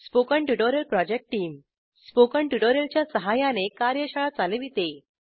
spoken tutorial project team spoken tutorial च्या सहाय्याने कार्यशाळा चालविते